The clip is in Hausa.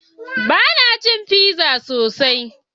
Bana cin pizza sosai.